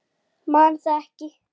Þau leka ofan í djúpin.